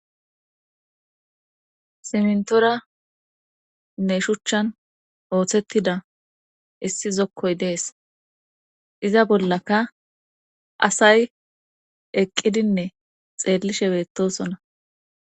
Simntorane shuchchan ooththettida issi zokkoy dees iza bollaka asay eqqidinne xeellishe beettosona.